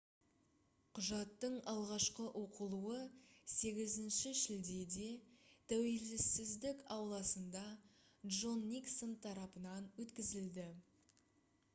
құжаттың алғашқы оқылуы 8 шілдеде тәуелсіздік ауласында джон никсон тарапынан өткізілді